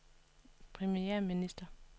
premierminister